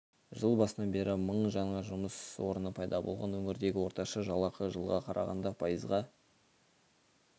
жыл басынан бері мың жаңа жұмыс орны пайда болған өңірдегі орташа жалақы жылға қарағанда пайызға